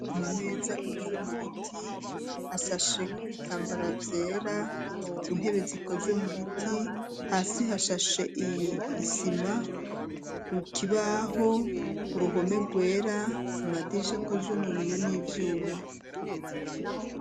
Ama meza akozwe mu biti hashashe ko ibitambara vyera, intebe zikozwe mu biti hasi hashashe isima, ikibaho uruhome rwera amadirisha akozwe mu biyo n'ivyuma.